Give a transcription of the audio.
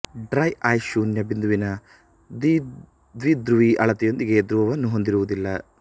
dry ice ಶೂನ್ಯ ಬಿಂದುವಿನ ದ್ವಿಧ್ರುವಿ ಅಳತೆಯೊಂದಿಗೆ ಧ್ರುವವನ್ನು ಹೊಂದಿರುವುದಿಲ್ಲ